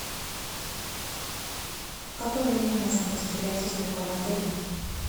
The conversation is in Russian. в какое время можно пострелять из лука в отеле